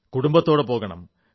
കുടുംബത്തോടൊപ്പം പോകണം